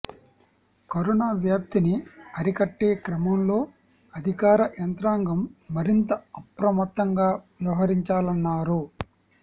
corona వ్యాప్తిని అరికట్టే క్రమంలో అధికార యంత్రాంగం మరింత అప్రమత్తంగా వ్యవహరించాలన్నారు